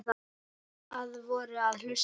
Að vori og hausti.